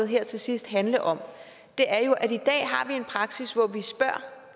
her til sidst handle om er jo at vi i dag har en praksis hvor vi spørger